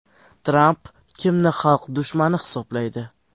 Tramp kimni xalq dushmani hisoblaydi?